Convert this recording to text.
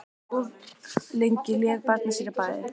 Of lengi lék barnið sér í baði